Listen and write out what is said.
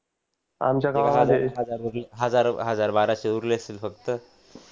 हजार बाराशे उरले असतील फक्त